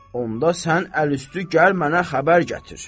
onda sən əlüstü gəl mənə xəbər gətir.